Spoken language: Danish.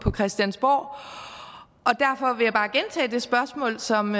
christiansborg og jeg bare gentage det spørgsmål som